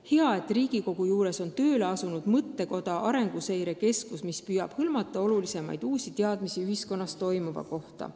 Hea, et Riigikogu juures on tööle asunud mõttekoda Arenguseire Keskus, kus püütakse hõlmata olulisemaid uusi teadmisi ühiskonnas toimuva kohta.